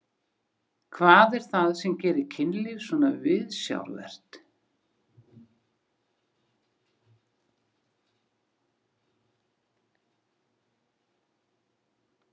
Hvað er það sem gerir kynlíf svona viðsjárvert?